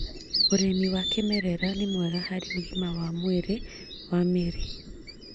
ũrĩmi wa kĩmerera nĩ mwega harĩ ũgima wa mwĩrĩ wa mĩrĩi